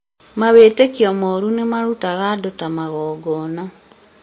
mawĩtĩkio moru nĩmarutaga andũ ta magongona